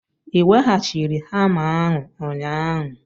I weghachiri hama ahụ ụnyaahụ?